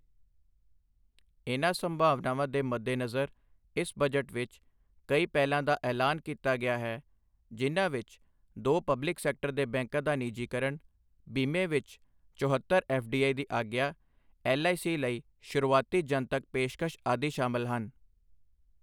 ਇਨ੍ਹਾਂ ਸੰਭਾਵਨਾਵਾਂ ਦੇ ਮੱਦੇਨਜ਼ਰ ਇਸ ਬਜਟ ਵਿੱਚ ਕਈ ਪਹਿਲਾਂ ਦਾ ਐਲਾਨ ਕੀਤਾ ਗਿਆ ਹੈ ਜਿਨ੍ਹਾਂ ਵਿੱਚ ਦੋ ਪਬਲਿਕ ਸੈਕਟਰ ਦੇ ਬੈਂਕਾਂ ਦਾ ਨਿਜੀਕਰਨ, ਬੀਮੇ ਵਿੱਚ ਚੋਹਤੱਰ ਐੱਫਡੀਆਈ ਦੀ ਆਗਿਆ, ਐੱਲਆਈਸੀ ਲਈ ਸ਼ੁਰੂਆਤੀ ਜਨਤਕ ਪੇਸ਼ਕਸ਼ ਆਦਿ ਸ਼ਾਮਲ ਹਨ।